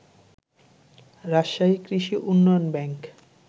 রাজশাহী কৃষি উন্নয়ন ব্যাংক